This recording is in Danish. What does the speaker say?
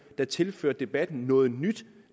der tilførte debatten noget nyt